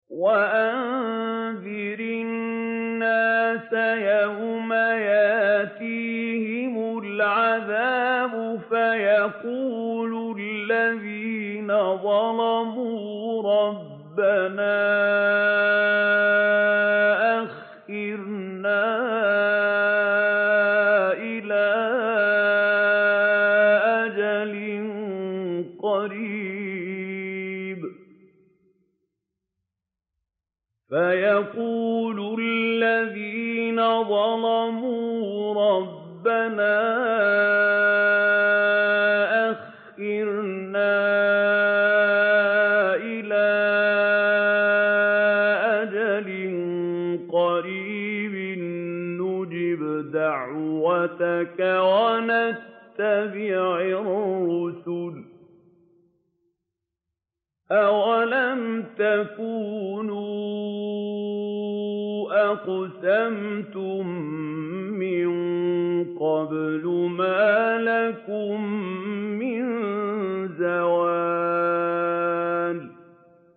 وَأَنذِرِ النَّاسَ يَوْمَ يَأْتِيهِمُ الْعَذَابُ فَيَقُولُ الَّذِينَ ظَلَمُوا رَبَّنَا أَخِّرْنَا إِلَىٰ أَجَلٍ قَرِيبٍ نُّجِبْ دَعْوَتَكَ وَنَتَّبِعِ الرُّسُلَ ۗ أَوَلَمْ تَكُونُوا أَقْسَمْتُم مِّن قَبْلُ مَا لَكُم مِّن زَوَالٍ